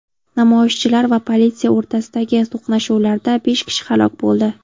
Namoyishchilar va politsiya o‘rtasidagi to‘qnashuvlarda besh kishi halok bo‘ldi.